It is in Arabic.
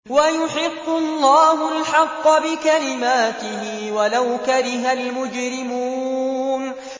وَيُحِقُّ اللَّهُ الْحَقَّ بِكَلِمَاتِهِ وَلَوْ كَرِهَ الْمُجْرِمُونَ